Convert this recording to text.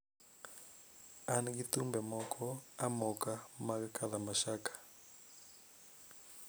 An gi thumbe moko amoka mag kalamashaka